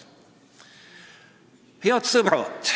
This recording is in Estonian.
Head sõbrad!